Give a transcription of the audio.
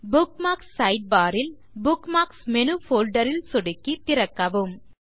bookmarks sidebar ல் bookmarks menu folder ல் சொடுக்கி திறக்கவும்